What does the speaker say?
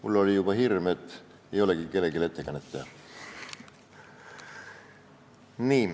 Mul oli juba hirm, et ei olegi kellelegi ettekannet teha.